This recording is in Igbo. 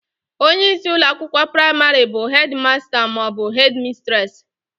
Onyeisi ụlọakwụkwọ praịmarị bụ hedị masta maọbụ hedị mistresị